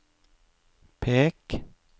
pek